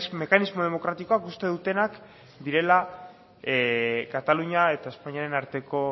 mekanismo demokratikoa uzten dutenak direla katalunia eta espainiako